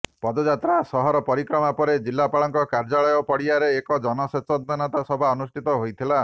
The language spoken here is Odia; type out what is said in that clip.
ପଦଯାତ୍ରା ସହର ପରିକ୍ରମା ପରେ ଜିଲ୍ଲାପାଳଙ୍କ କାର୍ଯ୍ୟାଳୟ ପଡିଆରେ ଏକ ଜନସଚେତନତା ସଭା ଅନୁଷ୍ଠିତ ହୋଇଥିଲା